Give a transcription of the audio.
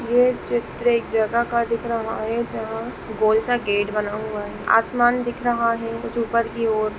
यह चित्र एक जगह का दिख रहा है जहाँ गोल सा गेट बना हुआ है आसमान दिख रहा है कुछ ऊपर की ओर--